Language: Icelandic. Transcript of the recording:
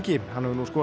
hann hefur nú skorað